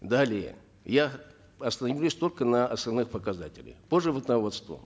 далее я остановлюсь только на основных показателях по животноводству